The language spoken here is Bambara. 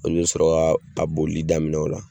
Olu be sɔrɔ k'a a boli daminɛ ola